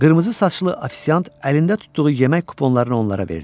Qırmızı saçlı affisiant əlində tutduğu yemək kuponlarını onlara verdi.